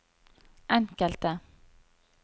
enkelte